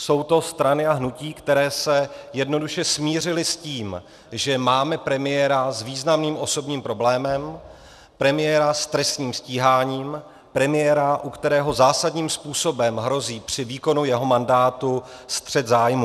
Jsou to strany a hnutí, které se jednoduše smířily s tím, že máme premiéra s významným osobním problémem, premiéra s trestním stíháním, premiéra, u kterého zásadním způsobem hrozí při výkonu jeho mandátu střet zájmů.